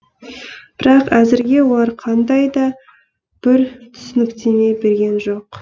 бірақ әзірге олар қандай да бір түсініктеме берген жоқ